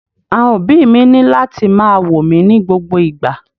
Àwọn òbí mi ni lati ma wo mi ni gbogbo igba.